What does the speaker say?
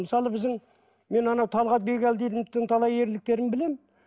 мысалы біздің мен анау талғат бигелдиновтің талай ерліктерін білемін